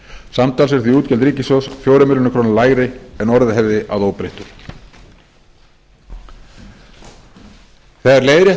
samtals eru því útgjöld ríkissjóðs fjórum milljörðum króna lægri en orðið hefði að óbreyttu þegar leiðrétt